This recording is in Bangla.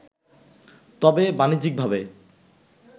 তবে বাণিজ্যিকভাবে